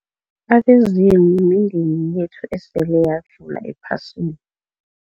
Abezimu mindeni yethu esele yadlula ephasini.